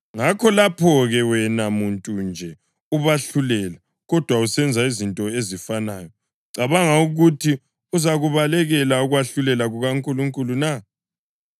Ngakho lapho-ke, wena muntu nje, ubahlulela, kodwa usenza izinto ezifanayo, ucabanga ukuthi uzakubalekela ukwahlulela kukaNkulunkulu na?